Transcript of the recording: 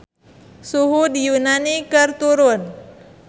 Suhu di Yunani keur turun